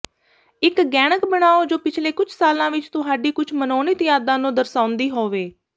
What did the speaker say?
ਇੱਕ ਗਹਿਣਕ ਬਣਾਉ ਜੋ ਪਿਛਲੇ ਕੁਝ ਸਾਲਾਂ ਵਿੱਚ ਤੁਹਾਡੀ ਕੁਝ ਮਨੋਨੀਤ ਯਾਦਾਂ ਨੂੰ ਦਰਸਾਉਂਦੀ ਹੋਵੇ